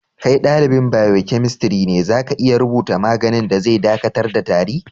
Kai dalibain biokemistri ne, za ka iya rubuta maganin da zai dakatar da tari?